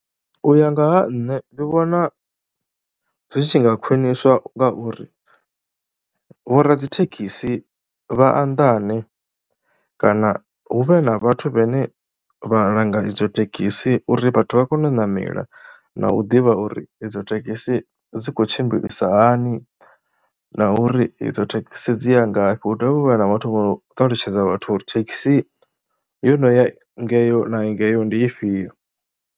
U ya nga ha nṋe ndi vhona zwi tshi nga khwiniswa ngauri vhoradzithekhisi vhaanḓane kana hu vhe na vhathu vhane vha langa idzo thekhisi uri vhathu vha kone u ṋamela na u ḓivha uri idzo thekhisi dzi khou tshimbilisa hani. Na uri idzo thekhisi dzi ya ngafhi, hu dovhe u vhe na vhathu vho ṱalutshedza vhathu uri thekhisi yo no ya ngeyo na ngeyo ndi ifhio.